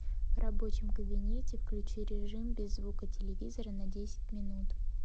в рабочем кабинете включи режим без звука телевизора на десять минут